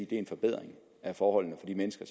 det er en forbedring af forholdene for de mennesker